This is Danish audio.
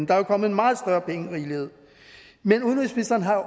der er kommet en meget større pengerigelighed men udenrigsministeren har jo